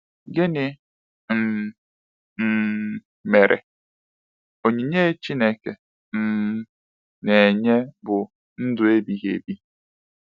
Gịnị um um mere, “onyinye Chineke um na-enye bụ ndụ ebighị ebi”?